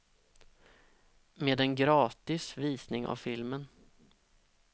Med en gratis visning av filmen.